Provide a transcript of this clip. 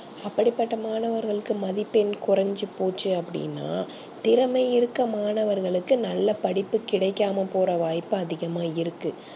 அப்டி பட்ட மாணவர்களக்கு மதிப்பெண் கொறஞ்சி போச்சி அப்டினா திறமை இருக்க மாணவர்களுக்கு நல்ல படிப்பு கிடைக்காம போற வாய்ப்பு அதிகமா இருக்கு